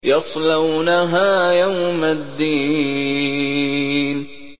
يَصْلَوْنَهَا يَوْمَ الدِّينِ